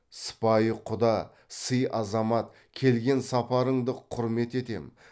сыпайы құда сый азамат келген сапарыңды құрмет етем